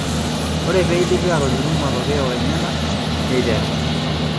Ore peidipi aatolimu matokeo enyana, neiterre.